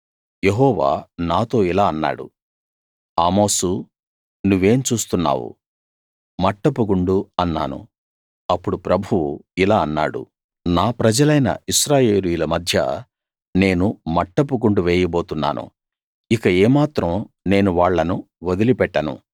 యెహోవా నాతో ఇలా అన్నాడు ఆమోసూ నువ్వేం చూస్తున్నావు మట్టపు గుండు అన్నాను అప్పుడు ప్రభువు ఇలా అన్నాడు నా ప్రజలైన ఇశ్రాయేలీయుల మధ్య నేను మట్టపు గుండు వేయబోతున్నాను ఇక ఏమాత్రం నేను వాళ్ళను వదిలిపెట్టను